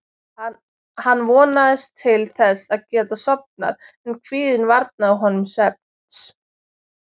Hann vonaðist til þess að geta sofnað en kvíðinn varnaði honum svefns.